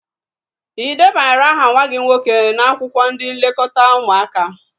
Ị debanyere aha nwa gị nwoke n'akwụkwọ ndị nlekọta ụmụaka?